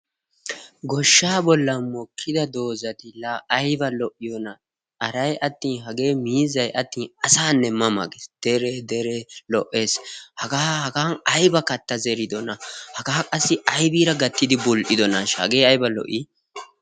Goshshaa bollan mokkida doozati la aybba lo''iyoona! haray attin hage miizzay atin asanne ma ma gees, dere dere lo''essi haga hagan aybba kattaa zeridoona? haga qassi aybbira gattidi bull''idoonashsha! hagee aybba lo''i!